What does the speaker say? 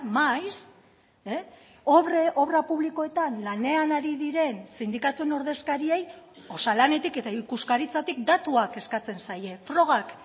maiz obra publikoetan lanean ari diren sindikatuen ordezkariei osalanetik eta ikuskaritzatik datuak eskatzen zaie frogak